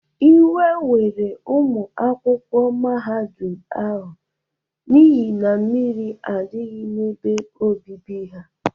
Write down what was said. Ịwe were ụmụ akwụkwọ mahadum ahụ n’ihi na mmiri adịghị n'ebe obibi ha.